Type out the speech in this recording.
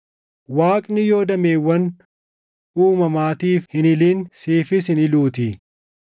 Waaqni yoo dameewwan uumamaatiif hin hilin siifis hin hiluutii.